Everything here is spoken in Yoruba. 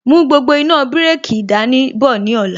Mú gbogbo iná bireki dání bọ̀ ní ọ̀la